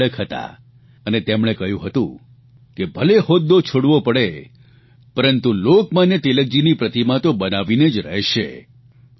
તેઓ અડગ હતા અને તેમણે કહ્યું હતું કે ભલે હોદ્દો છોડવો પડે પરંતુ લોકમાન્ય તિલકજીની પ્રતિમા તો બનીને જ રહેશે